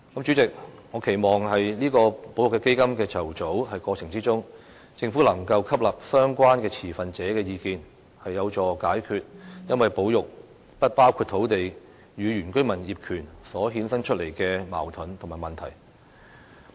主席，我期望在保育基金的籌組過程中，政府能夠吸納相關持份者的意見，這會有助解決因為保育"不包括土地"與原居民業權所衍生出的矛盾與問題。